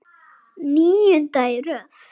Níunda í röð!